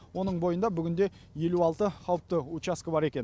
оның бойында бүгінде елу алты қауіпті учаске бар екен